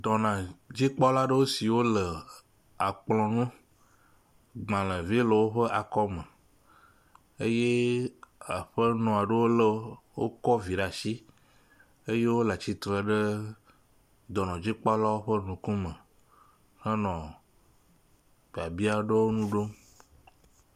Tɔnadzikpɔla aɖewo siwo le akplɔ nu, gbalevi le woƒe akɔme eye aƒenɔ ɖewo le wokɔ vi ɖe asi eye wo le atsitre ɖe dɔnɔdzikpɔlawo ƒe akɔme hele biabia aɖewo ŋu ɖom.